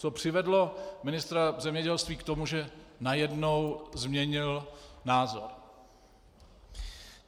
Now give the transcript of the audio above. Co přivedlo ministra zemědělství k tomu, že najednou změnil názor.